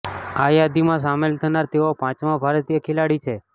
આ યાદીમાં સામેલ થનાર તેઓ પાંચમાં ભારતીય ખેલાડી છે